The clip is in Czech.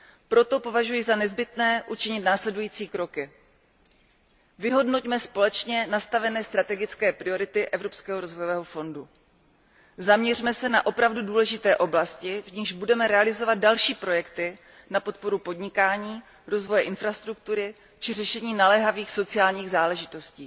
Proto považuji za nezbytné učinit následující kroky vyhodnoťme společně nastavené strategické priority Evropského rozvojového fondu a zaměřme se na opravdu důležité oblasti, v nichž budeme realizovat další projekty na podporu podnikání, rozvoje infrastruktury či řešení naléhavých sociálních záležitostí.